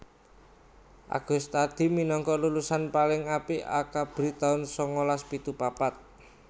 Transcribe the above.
Agustadi minangka lulusan paling apik Akabri taun sangalas pitu papat